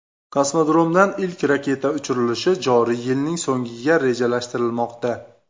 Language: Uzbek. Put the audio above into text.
Kosmodromdan ilk raketa uchirilishi joriy yilning so‘ngiga rejalashtirilmoqda.